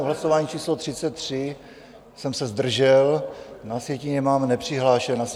U hlasování číslo 33 jsem se zdržel, na sjetině mám nepřihlášen.